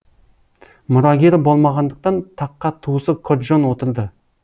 мұрагері болмағандықтан таққа туысы коджон отырды